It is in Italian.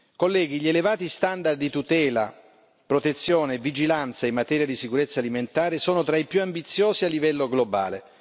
Colleghi, gli elevati standard di tutela, protezione e vigilanza in materia di sicurezza alimentare sono tra i più ambiziosi a livello globale.